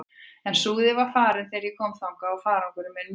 En Súðin var farin þegar ég kom þangað og farangur minn með henni.